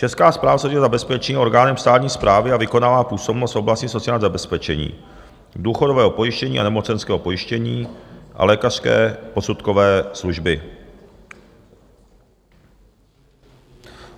Česká správa sociálního zabezpečení je orgánem státní správy a vykonává působnost v oblasti sociálního zabezpečení, důchodového pojištění a nemocenského pojištění a lékařské posudkové služby.